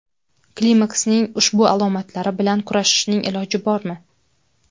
Klimaksning ushbu alomatlari bilan kurashishning iloji bormi ?